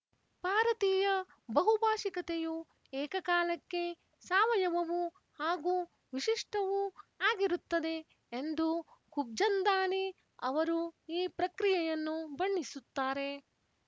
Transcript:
ಭಾರತೀಯ ಬಹುಭಾಶಿಕತೆಯು ಏಕಕಾಲಕ್ಕೆ ಸಾವಯವವೂ ಹಾಗೂ ವಿಶಿಷ್ಟವೂ ಆಗಿರುತ್ತದೆ ಎಂದು ಖುಬ್ಚಂದಾನಿ ಅವರು ಈ ಪ್ರಕ್ರಿಯೆಯನ್ನು ಬಣ್ಣಿಸುತ್ತಾರೆ